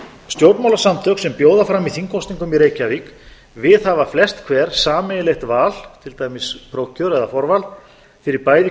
stjórnmálasamtök sem bjóða fram í þingkosningum í reykjavík viðhafa flest hver sameiginlegt val til dæmis prófkjör eða forval fyrir bæði